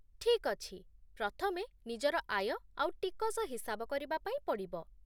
ଠିକ୍ ଅଛି, ପ୍ରଥମେ ନିଜର ଆୟ ଆଉ ଟିକସ ହିସାବ କରିବା ପାଇଁ ପଡ଼ିବ